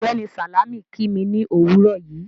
Ọgbẹ́ni Salámì kí mí ni owúrọ̀ yìí